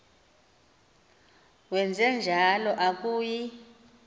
wenje njalo akuyi